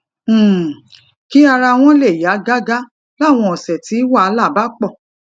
um kí ara wọn lè yá gágá láwọn òsè tí wàhálà bá pò